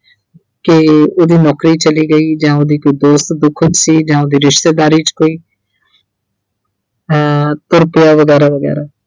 ਕੇ ਉਹਦੀ ਨੌਕਰੀ ਚਲੀ ਗਈ ਜਾਂ ਉਹਦੀ ਕੋਈ ਦੋਸਤ ਦੁੱਖ 'ਚ ਸੀ ਜਾਂ ਉਹਦੀ ਰਿਸ਼ਤੇਦਾਰੀ 'ਚ ਕੋਈ ਅਹ ਤੁਰ ਪਿਆ ਵਗੈਰਾ-ਵਗੈਰਾ।